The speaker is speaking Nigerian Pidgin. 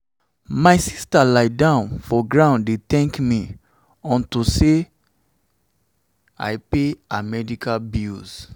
my sister lie down for ground dey dey thank me unto say i pay her medical bills